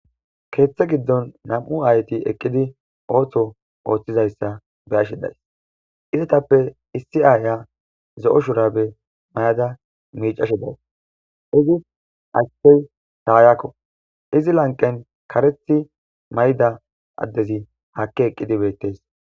keeththa giddon nam7u aayeti eqqidi ooso ooththizayssa be7ashe days. izatappe issi aaya zo7o shurabe mayada miiccashe dawus. izi achchey taayakko. izi lanqen karethi mayida addezi haakki eqqidi beettes.